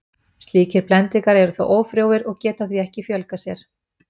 Slíkir blendingar eru þó ófrjóir og geta því ekki fjölgað sér.